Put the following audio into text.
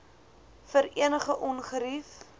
vir enige ongerief